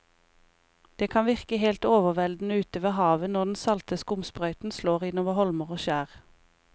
Det kan virke helt overveldende ute ved havet når den salte skumsprøyten slår innover holmer og skjær.